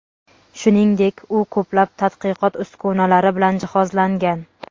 Shuningdek, u ko‘plab tadqiqot uskunalari bilan jihozlangan.